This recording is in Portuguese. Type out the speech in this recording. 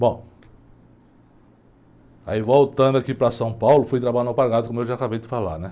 Bom, aí voltando aqui para São Paulo, fui trabalhar no, como eu já acabei de falar.